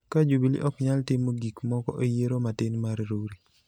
ka Jubili ok nyal timo gik moko e yiero matin mar Rurii.